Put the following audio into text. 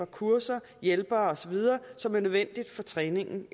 kurser hjælpere osv som er nødvendige for træningen